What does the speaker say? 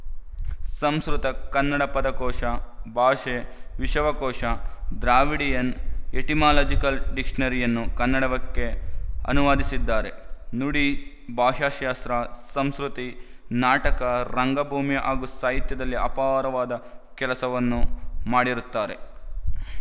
ಸಂಸ್ಕ್ರುತಕನ್ನಡ ಪದಕೋಶ ಭಾಷೆ ವಿಶವಕೋಶ ಡ್ರಾವಿಡಿಯನ್ ಎಟಿಮಾಲಜಿಕಲ್ ಡಿಕ್‌ಶನರಿಯನ್ನು ಕನ್ನಡಕ್ಕೆ ಅನುವಾದಿಸಿದ್ದಾರೆ ನುಡಿ ಭಾಷಾಶಾಸ್ತ್ರ ಸಂಸ್ಕ್ರುತಿ ನಾಟಕರಂಗಭೂಮಿ ಹಾಗೂ ಸಾಹಿತ್ಯದಲ್ಲಿ ಅಪಾರವಾದ ಕೆಲಸವನ್ನು ಮಾಡಿರುತ್ತಾರೆ